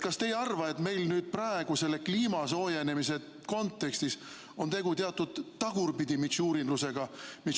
Kas te ei arva, et meil praegu selle kliima soojenemise kontekstis on tegu teatud tagurpidi mitšurinlusega?